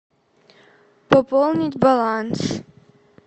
пополнить баланс